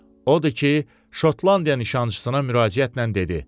Odur ki, Şotlandiya nişançısına müraciətlə dedi: